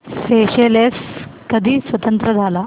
Seychelles कधी स्वतंत्र झाला